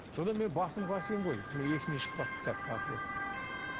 содан мен басымды қасимын ғой менің есімнен шығып қалыпты кітаптің аты деп